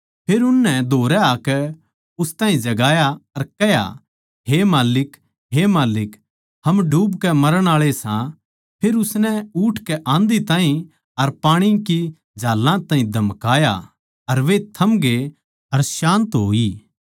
फेर उननै धोरै आकै उस ताहीं जगाया अर कह्या हे माल्लिक हे माल्लिक हम डूबके मरण आळे सां फेर उसनै उठकै आँधी ताहीं अर पाणी की झाल्लां ताहीं धमकाया अर वे थमगे अर शान्ति होई